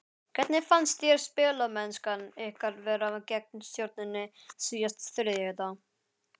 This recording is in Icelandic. Hvernig fannst þér spilamennskan ykkar vera gegn Stjörnunni síðasta þriðjudag?